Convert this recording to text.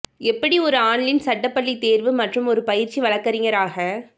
எப்படி ஒரு ஆன்லைன் சட்ட பள்ளி தேர்வு மற்றும் ஒரு பயிற்சி வழக்கறிஞர் ஆக